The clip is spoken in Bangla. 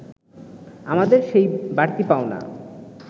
আমাদের সেই বাড়তি পাওনা